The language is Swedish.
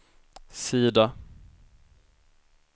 sida